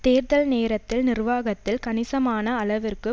தேர்தல் நேரத்தில் நிர்வாகத்தில் கணிசமான அளவிற்கு